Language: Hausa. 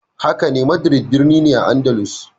Hakane, Madrid birnin ne a Andalus.